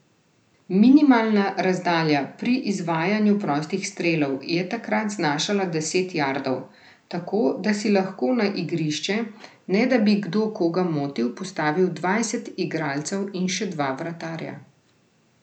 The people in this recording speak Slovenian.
Minimalna razdalja pri izvajanju prostih strelov je takrat znašala deset jardov, tako da si lahko na igrišče, ne da bi kdo koga motil, postavil dvajset igralcev in še dva vratarja.